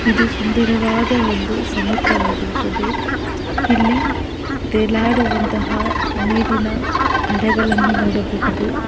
ಇದು ಸುಂದರವಾದ ಒಂದು ಸಮುದ್ರವಾಗಿರುತ್ತದೆ ಇಲ್ಲಿ ತೇಲಾಡುವಂತಹ ನೀರಿನ ಅಲೆಗಳನ್ನು ನೋಡಬಹುದು.